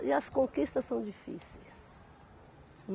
E as conquistas são difíceis.